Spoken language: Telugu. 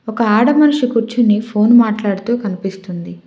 ఒక ఆడ మనిషి కూర్చుని ఫోన్ మాట్లాడుతూ కనిపిస్తుంది.